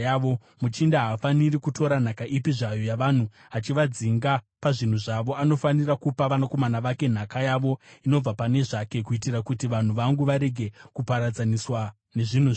Muchinda haafaniri kutora nhaka ipi zvayo yavanhu, achivadzinga pazvinhu zvavo. Anofanira kupa vanakomana vake nhaka yavo inobva pane zvake, kuitira kuti vanhu vangu varege kuparadzaniswa nezvinhu zvavo.’ ”